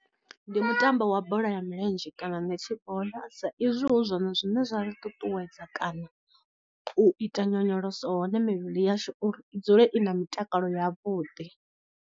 Ndi mutambo wa bola ya milenzhe kana ni tshi vhona sa izwi hu zwone zwine zwa ri ṱuṱuwedza kana u ita nyonyoloso hone mivhili yashu uri i dzule i na mutakalo yavhuḓi.